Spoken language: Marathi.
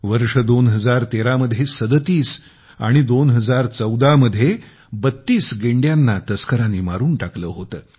वर्ष 2013 मध्ये 37 आणि 2014 मध्ये 32 गेंड्यांना तस्करांनी मारून टाकले होते